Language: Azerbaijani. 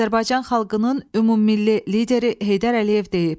Azərbaycan xalqının ümummilli lideri Heydər Əliyev deyib: